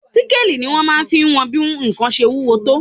Síkáàli ni ó máa fi wọn bí nǹkan ṣe wúwo tó